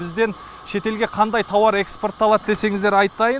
бізден шетелге қандай тауар экспортталады десеңіздер айтайын